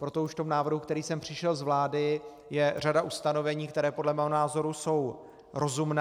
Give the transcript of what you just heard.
Proto už v tom návrhu, který sem přišel z vlády, je řada ustanovení, která podle mého názoru jsou rozumná.